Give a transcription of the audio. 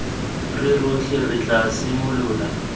re rotlhe re tla simolola